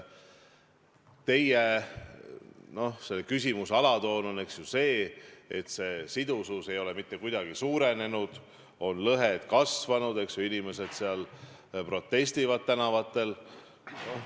Teie küsimuse alatoon on see, et sidusus ei ole mitte kuidagi suurenenud, lõhed on kasvanud, inimesed protestivad tänavatel.